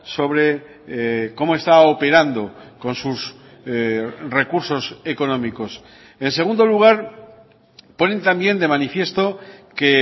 sobre cómo está operando con sus recursos económicos en segundo lugar ponen también de manifiesto que